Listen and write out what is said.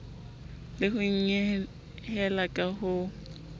le ho nyehela ka ho